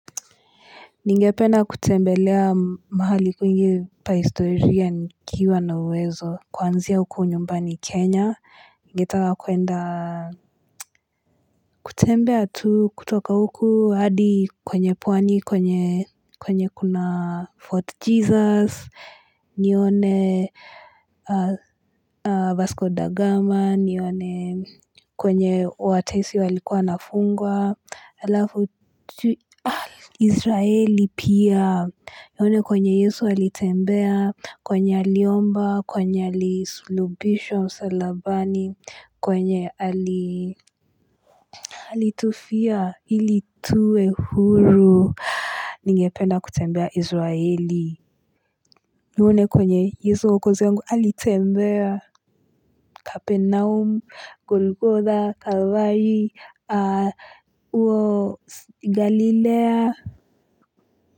Ningependa kutembelea mahali kwingi pa historia nikiwa na uwezo. Kwanzia huku nyumbani Kenya. Ninge taka kuenda kutembea tu kutoka huku hadi kwenye pwani kwenye kwenye kuna Fort Jesus. Nione Vasco da Gama. Nione kwenye oatesi walikuwa wanafungwa. Israeli pia nione kwenye yesu alitembea kwenye aliomba kwenye alisulubishwa msalabani kwenye alitufia ili tuwe huru ningependa kutembea israeli nione kwenye yesu mwokozi wangu alitembea kapenaum golgotha kawai uo galilea.